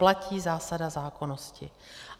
Platí zásada zákonnosti.